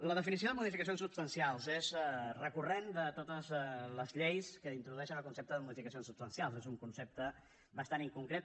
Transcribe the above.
la definició de modificacions substancials és recurrent de totes les lleis que introdueixen el concepte de modificacions substancials és un concepte bastant inconcret